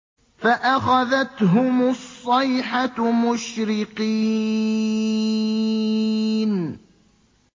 فَأَخَذَتْهُمُ الصَّيْحَةُ مُشْرِقِينَ